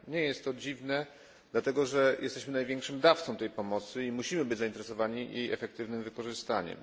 Nie jest to dziwne, dlatego że jesteśmy największym dawcą tej pomocy i musimy być zainteresowani jej efektywnym wykorzystaniem.